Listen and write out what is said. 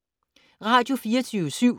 Radio24syv